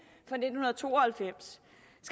fra nitten to og halvfems